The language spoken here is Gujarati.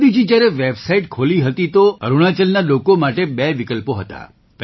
મોદીજી જ્યારે વેબસાઇટ ખોલી હતી તો અરુણાચલના લોકો માટે બે વિકલ્પો હતા